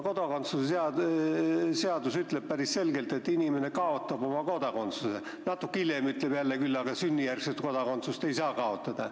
Kodakondsuse seadus ütleb päris selgelt, et inimene kaotab oma kodakondsuse, aga natuke hiljem ütleb jälle, et sünnijärgset kodakondsust ei saa kaotada.